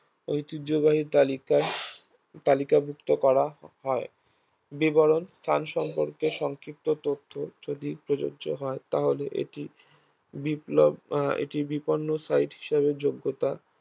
ঐতিহ্যবাহী তালিকার তালিকাভুক্ত করা হয় বিবরণ স্থান সম্পর্কে সংক্ষিপ্ত তথ্য যদি প্রযোজ্য হয় তাহলে এটি বিপ্লব আহ এটি বিপন্ন site হিসাবে যোগ্যতা